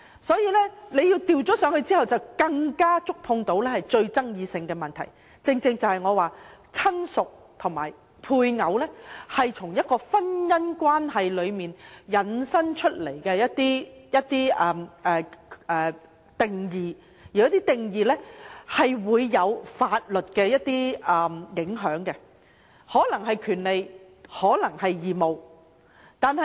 所以，若更改"相關人士"的定義，便更加觸碰到最具爭議的問題，即我所說親屬和配偶是從婚姻關係引申出來的一些定義，而這些定義是有法律影響的，可能是權利或義務。